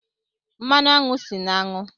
Mmanụ aṅụ si na aṅụ.